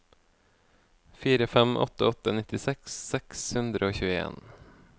fire fem åtte åtte nittiseks seks hundre og tjueen